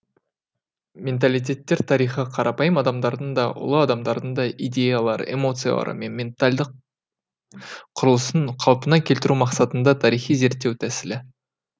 менталиттер тарихы қарапайым адамдардың да ұлы адамдардың да идеялары эмоциялары мен ментальдық құрылысын қалпына келтіру мақсатында тарихи зерттеу тәсілі